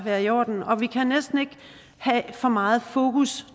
være i orden og vi kan næsten ikke have for meget fokus